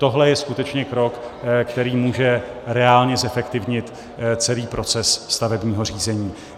Tohle je skutečně krok, který může reálně zefektivnit celý proces stavebního řízení.